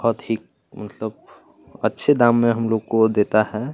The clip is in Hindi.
बहोत ही मतलब अच्छे दाम में हम लोग को देता है।